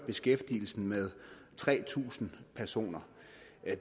beskæftigelsen med tre tusind personer